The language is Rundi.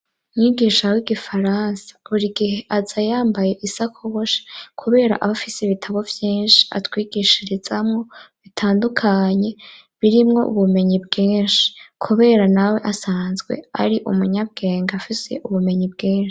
Mwigisha w'igifaransa buri igihe aza yambaye isakoboshi, kubera abafise bitabo byinshi atwigishirizamobitandukanye birimwo ubumenyi bwinshi. Kubera nawe asanzwe ari umunyabwenge afise ubumenyi bwinshi.